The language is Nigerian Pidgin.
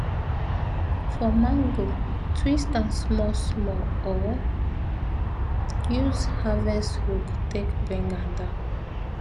for mango twist am small small or use harvest hook take bring am down